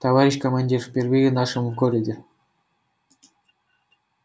товарищ командир впервые в нашем городе